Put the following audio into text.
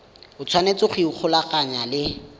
o tshwanetse go ikgolaganya le